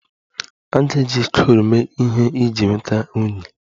A ga-eji coal mee ihe iji nweta unyi